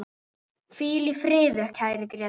Hvíl í friði, kæri Grétar.